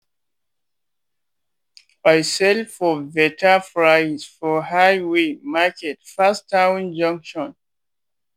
i sell for better price for highway market pass town junction.